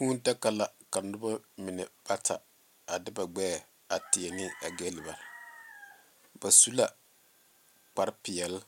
Kūū daga la ka noba mine bata a de ba gbeɛ a tie ne a galbaare ba su kparre peɛle